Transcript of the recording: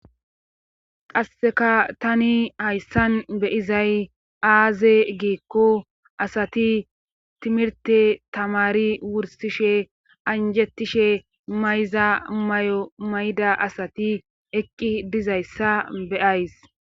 qasseka tani hayssan beyizay aaze giikko asati timirte tamari wursishe anjettishe mayza may7o mayda asati eqqi dizayssa beyays